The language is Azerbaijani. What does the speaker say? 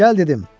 Gəl dedim!